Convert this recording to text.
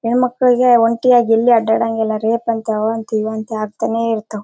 ಹೆಣ್ಮಕ್ಕಳಿಗೆ ಒಂಟಿಯಾಗಿ ಎಲ್ಲಿ ಓಡಾಡಹಂಗೆ ಇಲ್ಲ ರೇಪ್ ಅಂತೆ ಅವಂತೆ ಇವಂತೆ ಆಗ್ತಾನೆ ಇರತವೇ.